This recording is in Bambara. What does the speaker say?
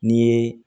N'i ye